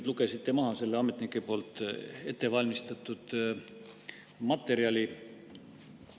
Te lugesite maha selle ametnike poolt ette valmistatud materjali.